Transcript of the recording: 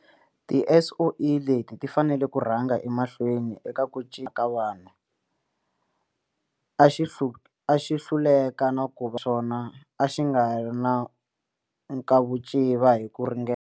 TiSOE leti ti fanele ku rhanga emahlweni eka ku cinca vanhu. A xi hluleka na ku naswona a xi nga ri na nkavuciva hi ku ringanela.